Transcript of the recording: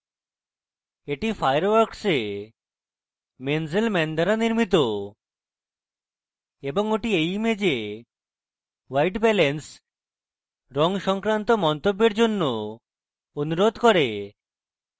এটি fireworks এ mainzelmann দ্বারা নির্মিত এবং ওটি এই image white balance এবং রঙ সংক্রান্ত মন্তব্যের জন্য অনুরোধ করে